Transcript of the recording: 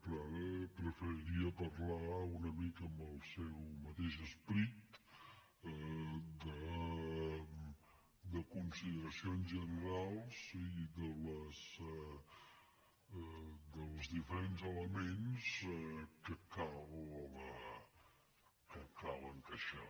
però ara preferiria parlar una mica amb el seu mateix esperit de consideracions generals i dels diferents elements que cal encaixar